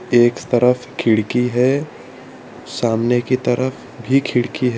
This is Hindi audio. एक तरफ खिड़की है सामने की तरफ भी खिड़की है।